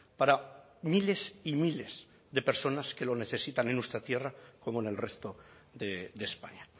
para miles y miles de personas que lo necesitan en nuestra tierra como en el resto de españa